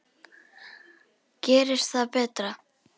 Gerist það betra.